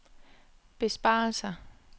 besparelser